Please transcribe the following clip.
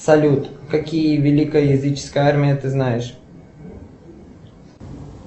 салют какие великая языческая армия ты знаешь